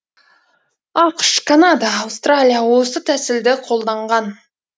ақш канада аустралия осы тәсілді қолданған